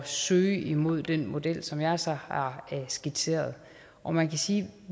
søge imod den model som jeg så har skitseret og man kan sige at